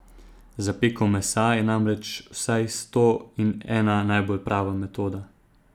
Za peko mesa je namreč vsaj sto in ena najbolj prava metoda.